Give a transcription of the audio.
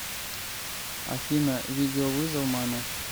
афина видеовызов маме